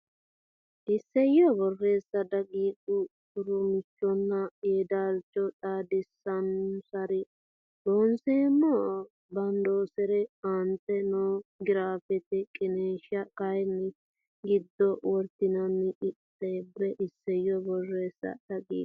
Isayyo Borreessa daqiiqa Gu rumiichconna yeedaalcho xaadisannonsarenna Looseemmo badanonsare aante noo giraafete qiniishshi kayinni giddo wortinannina qixxaabbe Isayyo Borreessa daqiiqa.